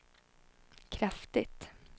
kraftigt